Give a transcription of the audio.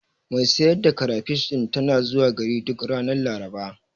Mai sayar da karafish ɗin tana zuwa gari duk ranar Laraba.